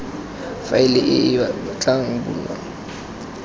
faele e e tla bulwang